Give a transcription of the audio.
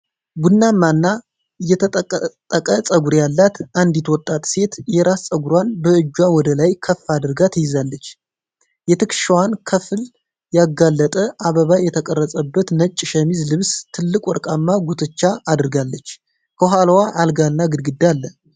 ቡናማና የተጠቀጠቀ ጸጉር ያላት አንዲት ወጣት ሴት የራስ ጸጉሯን በእጇ ወደ ላይ ከፍ አድርጋ ትይዛለች። የትከሻዋን ክፍል ያጋለጠ አበባ የተቀረጸበት ነጭ ሸሚዝ ለብሳ ትልቅ ወርቃማ ጉትቻ አድርጋለች። ከኋላዋ አልጋ እና ግድግዳ አለ።